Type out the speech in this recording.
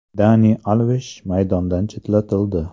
Dani Alvesh maydondan chetlatildi.